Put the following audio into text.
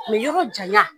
yɔrɔ janya